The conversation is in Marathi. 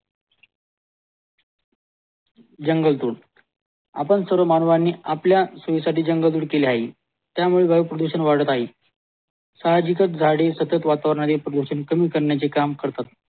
जंगल तोड आपण सर्व मानवांनी आपल्या सोयीसाठी जंगल तोड केली आहे त्या मुले वायू प्रदूषण वाढत आहे साहजिक झाडे सतत वातावरणी प्रदूषण कमी करण्याचे काम करतात